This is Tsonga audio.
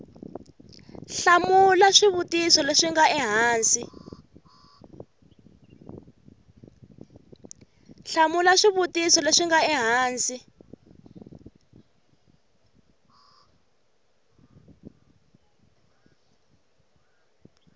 hlamula swivutiso leswi nga ehansi